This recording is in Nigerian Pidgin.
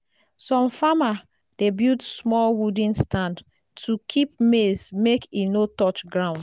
some farmer dey build small wooden stand to keep maize make e no touch ground.